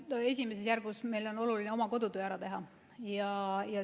No esimeses järgus on meil oluline oma kodutöö ära teha.